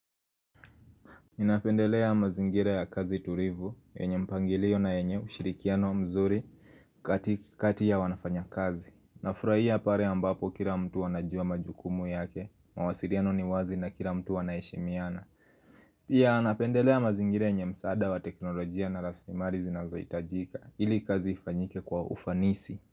Ninapendelea mazingira ya kazi tulivu, yenye mpangilio na yenye ushirikiano mzuri kati kati ya wanafanya kazi. Nafurahia pare ambapo kila mtu anajua majukumu yake, mawasiriano ni wazi na kila mtu anaheshimiana. Pia napendelea mazingira yenye msaada wa teknolojia na raslimari zinazohitajika, ili kazi ifanyike kwa ufanisi.